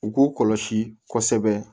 U k'u kɔlɔsi kɔsɛbɛ